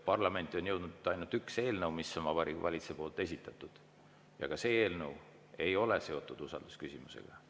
Parlamenti on jõudnud ainult üks eelnõu, mis on Vabariigi Valitsuse esitatud, ja ka see eelnõu ei ole seotud usaldusküsimusega.